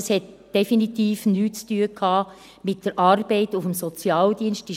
Es hatte also definitiv nichts mit der Arbeit im Sozialdienst zu tun;